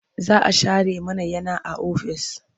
Za a share mana yana a ofis.